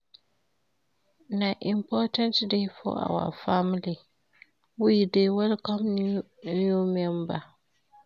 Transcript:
Na important day for our family, we dey welcome new member.